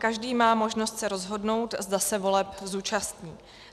Každý má možnost se rozhodnout, zda se voleb zúčastní.